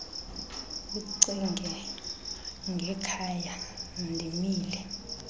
ucinge ngekhaya ndimile